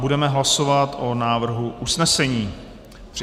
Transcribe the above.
Budeme hlasovat o návrhu usnesení.